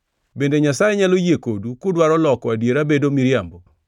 Bende Nyasaye nyalo yie kodu kudwaro loko adiera bedo miriambo?